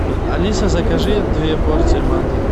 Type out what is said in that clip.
алиса закажи две порции манты